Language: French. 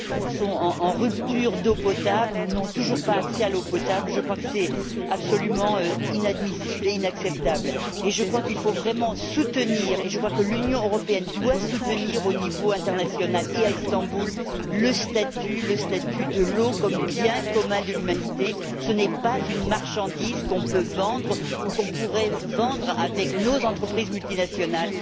sont en rupture d'eau potable ou n'ont toujours pas accès à l'eau potable. C'est absolument inadmissible et inacceptable. À mon sens, il faut vraiment soutenir et je crois que l'Union européenne doit soutenir au niveau international et à Istanbul le statut de l'eau comme bien commun de l'humanité. Ce n'est pas une marchandise qu'on peut vendre ou qu'on pourrait vendre avec nos entreprises multinationales.